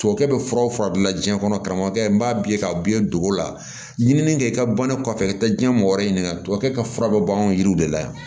Tubabukɛ bɛ furaw fura dilan diɲɛ kɔnɔ karamɔgɔkɛ n b'a ye ka biyɛn don o la ɲinini kɛ i ka bannen kɔfɛ i ka taa diɲɛ mɔgɔ wɛrɛ ɲini nka tubabukɛ ka fura bɛ ban anw yiriw de la yan